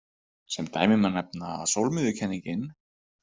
Sem dæmi má nefna að sólmiðjukenningin.